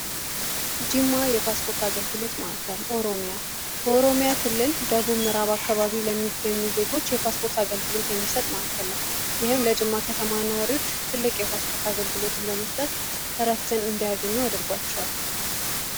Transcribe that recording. ጂማ የፓስፖርት አገልግሎት ማዕከል ኦሮሚያ በኦሮሚያ ክልል ደቡብ ምእዕራብ አካባቢ ለሚገኙ ዜጎች የፓስፖርት አገልግሎት የሚሰጥ መዕከል ነው ይህም ለጅማ ከተማ ነዋሪዎች ትልቅ የፓስፖርት አገልግሎትን በመስጠት እረፍትን እንዲያገኙ አድርጓቸዋል።